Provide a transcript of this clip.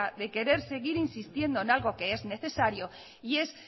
de querer seguir insistiendo en algo que es necesario y es